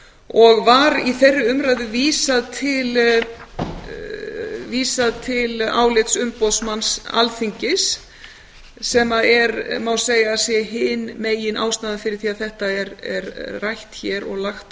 og var í þeirri umræðu vísað til álits umboðsmanns alþingis sem er má segja hin ástæðan fyrir því að þetta er rætt hér og lagt